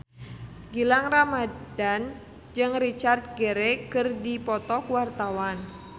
Gilang Ramadan jeung Richard Gere keur dipoto ku wartawan